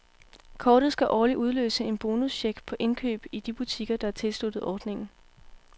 Kortet skal årligt udløse en bonuscheck på indkøb i de butikker, der er tilsluttet ordningen.